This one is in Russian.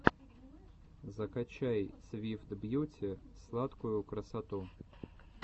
закачай свит бьюти сладкую красоту